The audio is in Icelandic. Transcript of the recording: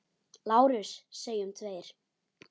LÁRUS: Segjum tveir!